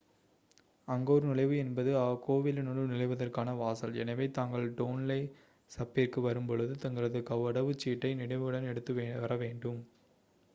Angkor நுழைவு என்பது கோவிலுனுள் நுழைவதற்கான வாசல் எனவே தாங்கள் டோன்லே சப்பிர்க்கு வரும்பொழுது தங்களது கடவுச்சீட்டை நினைவுடன் எடுத்து வரவேண்டும்